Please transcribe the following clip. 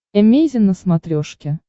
эмейзин на смотрешке